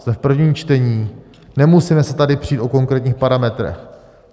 Jsme v prvním čtení, nemusíme se tady přít o konkrétních parametrech.